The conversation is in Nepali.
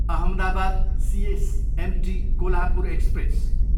Ahmedabad, CSMT Kolhapur express